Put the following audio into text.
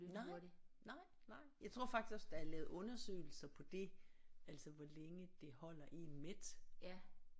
Nej nej nej jeg tror faktisk også der er lavet undersøgelser på det altså hvor længe det holder én mæt